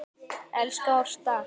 Elsku Ásta.